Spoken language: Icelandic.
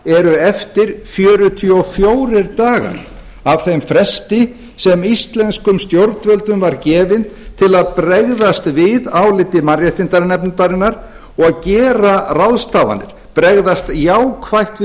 eru eftir fjörutíu og fjórir dagar af þeim fresti sem íslenskum stjórnvöldum var gefinn til að bregðast við áliti mannréttindanefndarinnar og gera ráðstafanir bregðast jákvætt við